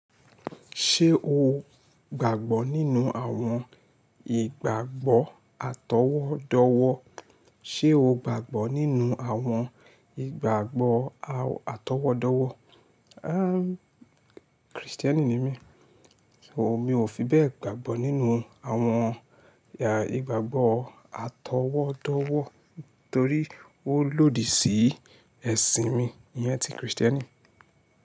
Ṣé o gbàgbọ́ nínú àwọn ìgbàgbọ́ atọwọ́dọwọ́? Ṣé o gbàgbọ́ nínú àwọn ìgbàgbọ́ a-atọwọ́dọwọ́? Kristiẹni ni mí, so mi ò fi bẹ́ẹ̀ gbàgbọ́ nínú àwọn ìgbàgbọ́ atọwọ́dọwọ́ torí ó lòdì sí ẹ̀sìn mi iyẹn ti Kristiẹni.